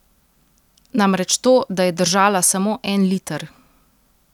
Namreč to, da je držala samo en liter.